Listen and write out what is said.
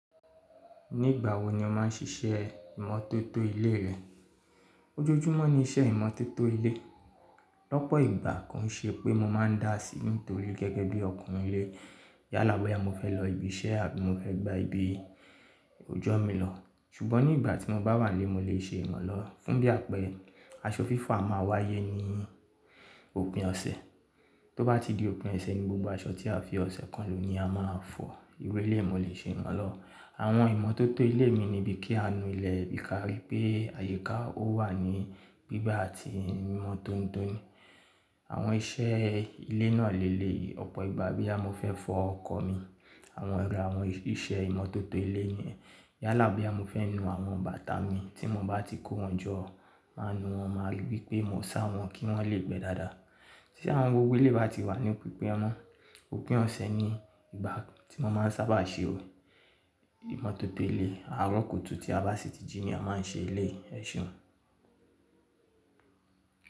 Nígbà wo ni o máà ń ṣiṣẹ́ ìmọ́tótó ilé rẹ? Ojoojúmọ́ ní iṣẹ́ ìmọ́tótó ilé. Lọ́pọ̀ ìgbà kàn ṣé pé mo máa ń dà á sí nítorí gẹ́gẹ́ bí ọkùnrin ilé. Yálàboya mo fẹ́ lọ ibi iṣẹ́ àbí mo fẹ́ gba ibi òojọ́ mi lọ. Ṣùgbọ́n ní ìgbà tí mo bá wà lé, mo lè ṣe ìmọ̀ lọ. Fún bí àpẹ aṣọ fífọ̀ a máa wáyé ní òpin ọ̀sẹ̀. Tó bá ti di òpin ọ̀sẹ̀ ní gbogbo aṣọ tí a fi ọ̀sẹ̀ kan lò ni a máa fọ̀. Iru élé, mo lè ṣe ìmọ̀ lọ. Àwọn ìmọ́tótó ilé mi nibi kí a nu ilẹ̀ bí ka rí pé àyíká ó wà ní gbígbá àti ìmọ́tonitoni. Àwọn iṣẹ́ ilé náà léèle ọ̀pọ̀ ìgbà bí a mo fẹ́ fọ ọkọ̀ mi. Àwọn ara àwọn iṣẹ́ ìmọ́tótó ilé ni ẹ́. Yálàboya mo fẹ́ nu àwọn bàtà mi tí mo bá ti kó wọn jọ, máa nu wọn máa rí pé mò ń sá wọn kí wọ́n lè gbẹ́ dáadáa. Tí àwọn gbogbo elé bá ti wà ní pípẹ́ mọ́, òpin ọ̀sẹ̀ ni ìgbà tí mo máa sábà ṣe ò. Ìmọ́tótó ilé àárọ̀ kùtù tí a bá sì tí jí ni a máa ń ṣe ilé ẹṣùn.